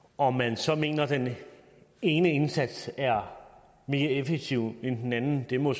om man så mener den ene indsats er mere effektiv end den anden må